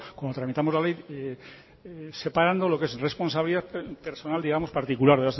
cuando tramitamos la ley separando lo que es responsabilidad personal digamos particular